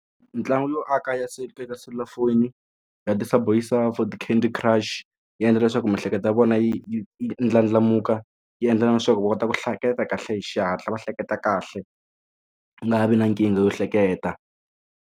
Mitlangu yo aka ya siku eka selulafoni ya candy crush yi endla leswaku miehleketo ya vona yi yi ndlandlamuka yi endla na leswaku va kota ku hleketa kahle hi xihatla va hleketa kahle u nga vi na nkingha yo hleketa.